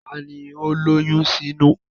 Taa ni ó ń lóyún sínú?